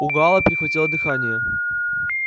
у гаала перехватило дыхание